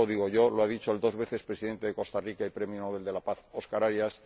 No lo digo yo lo ha dicho el dos veces Presidente de Costa Rica y Premio Nobel de la Paz Oscar Arias.